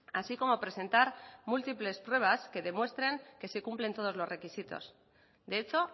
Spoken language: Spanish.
así como presentar múltiples pruebas que demuestren que sí cumplen todos los requisitos de hecho